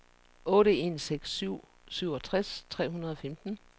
otte en seks syv syvogtres tre hundrede og femten